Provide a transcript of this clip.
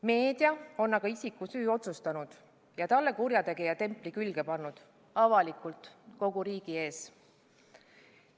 Meedia on aga isiku süü otsustanud ja talle kurjategija templi külge pannud – avalikult, kogu riigi ees.